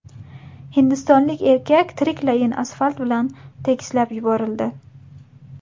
Hindistonlik erkak tiriklayin asfalt bilan tekislab yuborildi.